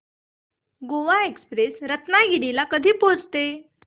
Goa express Ratnagiri ला कधी पोहचते